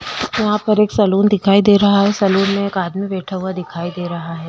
वहाँ पर एक सलून दिखाई दे रहा है। सलून में एक आदमी बैठा हुआ दिखाई दे रहा है।